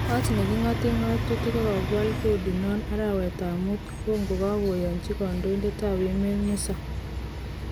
Kot neki ngoten ngotutik kokiwal kodi non arawetab mut kokakoyochi kondoidet tab emet Musa.